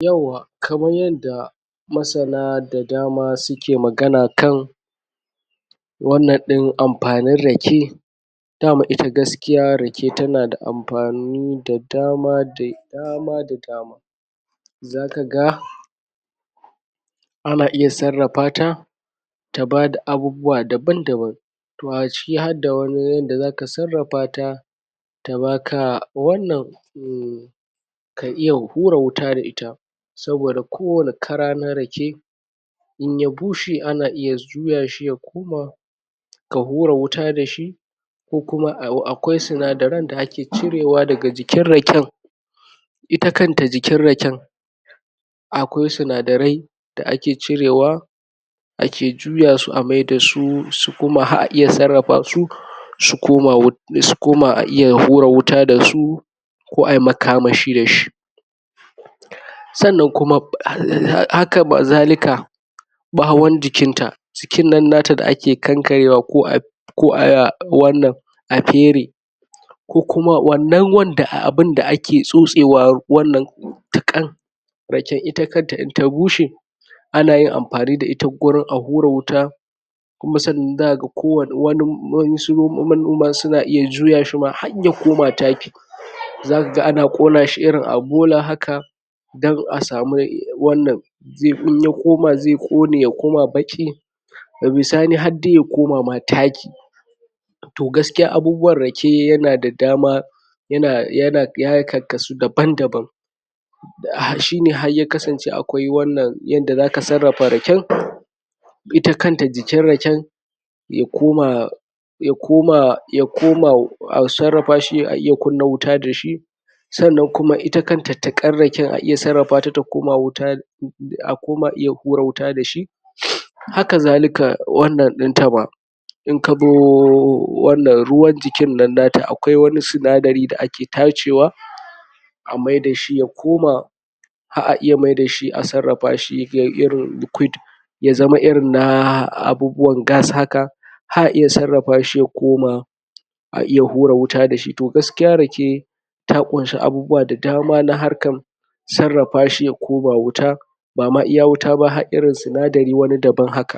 yauwa kamar yadda masana da dama suke magana kan wannan din amfanin rake dama ita gaskiya rake tana amfani da dama da dama da dama da dama zakaga ana iya sarrafa ta ta bada abubwa daban daban to a cikin harda wani yadda sarrafata ta baka wannan ka iya hura wata da ita saboda ko wani kara na rake inya bushe ana iya juya shi ya koma ka hura wuta da shi ka hura wuta dashi ko kuma akwai sinadarai da ake cirewa a cikin raken' ita kanta jin raken akwai sinadarai da ake cirewa ake juya su amai da su koma har a ayi sarrafa su su koma a iya hura wuta da su ko ayi maka mashi da shi sannan kuma haka zalika bawon jikita jikin nan na ta da ake kankareta ko a wannan a fere ko kuma wato wannan wanda ake tsotsewa tukan raken in ta bushe ana yin amfani da ita gurin a hura wuta kuma sannan zaka ga wasu manoman suna iya juya shi ma harya koma taki zaka ga ana konashi haka a bola dan asamu wannan zai koma kone baki daga bisani ma harya koma taki to gaskiya abuwan rake ya na dama ya karksu daban daban shine har ya kasance akwai yadda zaka sarrafa raken ita kanta jikin rake ya koma ya koma ya koma asarrafashi a iya kunna wuta dashi kuma sannan ita kanta tiqar raken a iya sarrafa ta ta koma a iya hura wuta dashi? haka zalika wannnan dinta ma inkazo wannan ruwan jikin nan na ta akwai sinadari da ake tacewa amaida shi yakoma har a iya mai dashi a sarrafa shi irin likuit ya zama irin abubwan gasa haka har a iya sarrafa shi ya koma a iya hura wuta da shi to gaskiya rake ta kunshi abubwa da dama na harkan sarrafa shi ya koma wuta bama iya wuta ba har irin sinadarin wani daban haka